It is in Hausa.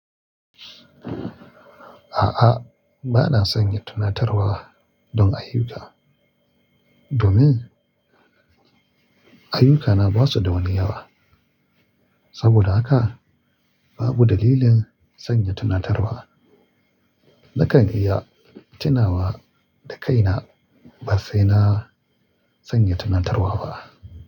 A'a, ba na sanya tunatarwa don ayuka. Domin ayukana ba su da wani yawa. Saboda haka babu dalilin sanya tunatarwa. Nakan iya tunawa da kaina ba sai na sanya tunatarwa ba.